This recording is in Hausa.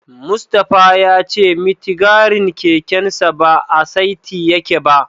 Mustapha ya ce mitigarin kekensa ba a saiti yake ba.